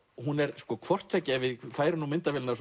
hún er sko hvort tveggja ef við færum myndavélina